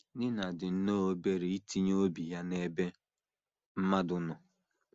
Nina dị nnọọ obere itinye obi ya n’ebe mmadụ nọ.